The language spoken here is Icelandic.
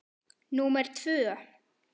Númer tvö